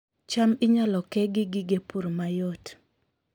cham inyalo ke gi gige pur mayot